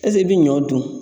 Ɛseke i bI ɲɔ dun